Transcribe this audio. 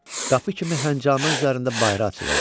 Qapı kimi həncamə üzərində bayra açılırdı.